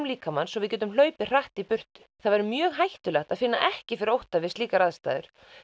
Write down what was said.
líkamans svo við getum hlaupið hratt í burtu það væri mjög hættulegt að finna ekki fyrir ótta við slíkar aðstæður